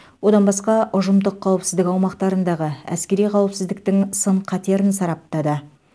одан басқа ұжымдық қауіпсіздік аумақтарындағы әскери қауіпсіздіктің сын қатерін сараптады